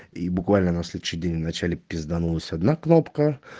и буквально на следующий день в начале пизданулась одна кнопка